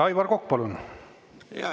Aivar Kokk, palun!